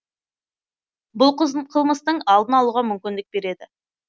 бұл қылмыстың алдын алуға мүмкіндік береді